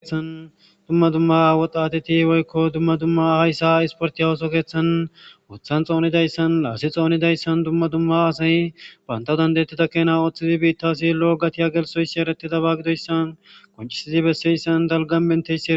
Haysan Dumma dumma woxatet woyko dumma dumma oso kethan wothan xonidaydan, las xonidaysan, dumma dumma asay banta danda'etida keena othid bittas gatiya gelthiyoys eretidaba gidoysan qoncid besiyaysan dalgan mintiyaysa ...